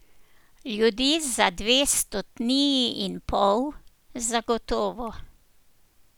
Ljudi za dve stotniji in pol, zagotovo.